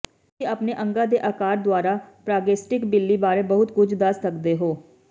ਤੁਸੀਂ ਆਪਣੇ ਅੰਗਾਂ ਦੇ ਆਕਾਰ ਦੁਆਰਾ ਪ੍ਰਾਗੈਸਟਿਕ ਬਿੱਲੀ ਬਾਰੇ ਬਹੁਤ ਕੁਝ ਦੱਸ ਸਕਦੇ ਹੋ